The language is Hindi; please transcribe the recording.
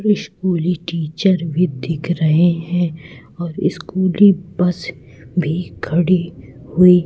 स्कूली टीचर भी दिख रहे हैं और स्कूली बस भी खड़ी हुई--